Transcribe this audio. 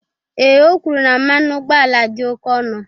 Ee, o kwuru na mmanụ ụgbọala dị oke ọnụ